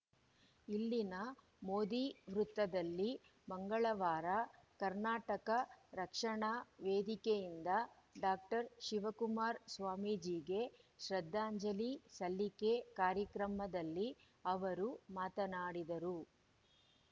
ಇಲ್ಲಿನ ಮೋದಿ ವೃತ್ತದಲ್ಲಿ ಮಂಗಳವಾರ ಕರ್ನಾಟಕ ರಕ್ಷಣಾ ವೇದಿಕೆಯಿಂದ ಡಾಕ್ಟರ್ ಶಿವಕುಮಾರ ಸ್ವಾಮೀಜಿಗೆ ಶ್ರದ್ಧಾಂಜಲಿ ಸಲ್ಲಿಕೆ ಕಾರ್ಯಕ್ರಮದಲ್ಲಿ ಅವರು ಮಾತನಾಡಿದರು